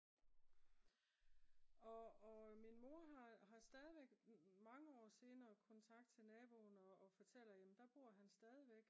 og min mor har stadigvæk mange år senere kontakt til naboen og fortæller jamen der bor han stadigvæk